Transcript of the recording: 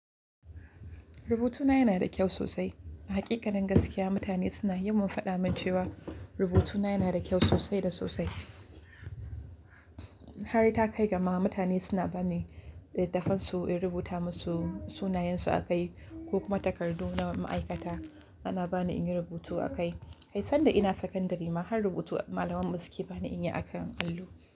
Rubutuna yana da kyau sosai. A hakikanin gaskiya, mutane suna yawan faɗa min cewa rubutuna yana da kyau sosai da sosai. Har da kai gama mutane suna ba ni litattafansu in rubuta musu sunayensu a kai ko kuma takardu na ma'aikata ana ba ni in yi rubutu a kai. Kai sanda ina sakandare ma har rubutu malaman baske ba ni in yi a kan allo.